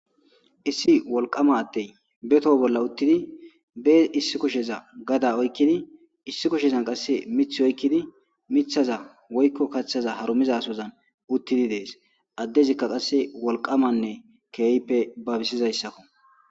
issi wolqama attey betoho bolla uttidi bee issi kosheza gada oykkini issi kushezan qasse mith oykkini mithaza woykko kaththaza harumiza sozan uttidi dees addezikka qasse wolqamanne keeyippe babisizayssakko